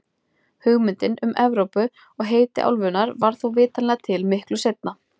Hugmyndin um Evrópu og heiti álfunnar varð þó vitanlega til miklu seinna.